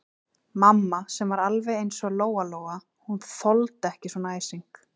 Mamma sem var alveg eins og Lóa-Lóa, hún þoldi ekki svona æsing.